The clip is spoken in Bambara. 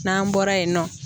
N'an bɔra yen nɔ